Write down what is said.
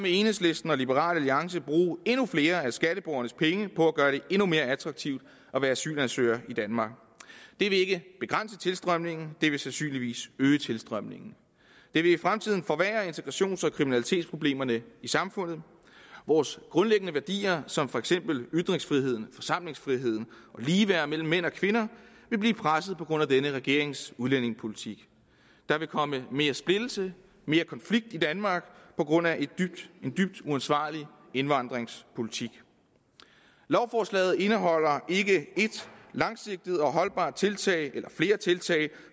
enhedslisten og liberal alliance bruge endnu flere af skatteborgernes penge på at gøre det endnu mere attraktivt at være asylansøger i danmark det vil ikke begrænse tilstrømningen det vil sandsynligvis øge tilstrømningen det vil i fremtiden forværre integrations og kriminalitetsproblemerne i samfundet vores grundlæggende værdier som for eksempel ytringsfrihed og forsamlingsfrihed og ligeværd mellem mænd og kvinder vil blive presset på grund af denne regerings udlændingepolitik der vil komme mere splittelse mere konflikt i danmark på grund af en dybt uansvarlig indvandringspolitik lovforslaget indeholder ikke et langsigtet og holdbart tiltag eller flere tiltag